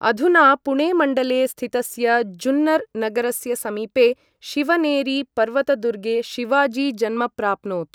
अधुना पुणेमण्डले स्थितस्य जुन्नर् नगरस्य समीपे शिवनेरी पर्वतदुर्गे शिवाजी जन्म प्राप्नोत्।